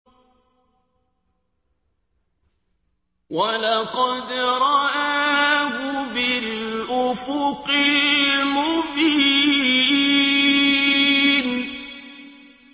وَلَقَدْ رَآهُ بِالْأُفُقِ الْمُبِينِ